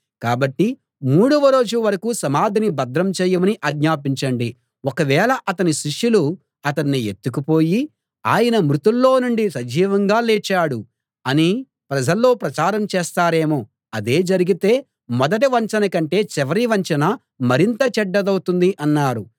కాబట్టి మూడవ రోజు వరకూ సమాధిని భద్రం చేయమని ఆజ్ఞాపించండి ఒకవేళ అతని శిష్యులు అతణ్ణి ఎత్తుకుపోయి ఆయన మృతుల్లో నుండి సజీవంగా లేచాడు అని ప్రజల్లో ప్రచారం చేస్తారేమో అదే జరిగితే మొదటి వంచన కంటే చివరి వంచన మరింత చెడ్డదౌతుంది అన్నారు